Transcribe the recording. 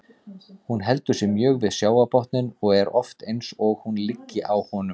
Hún heldur sig mjög við sjávarbotninn og er oft eins og hún liggi á honum.